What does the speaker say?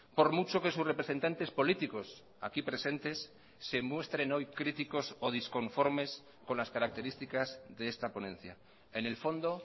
por mucho que sus representantes políticos aquí presentes se muestren hoy críticos o disconformes con las características de esta ponencia en el fondo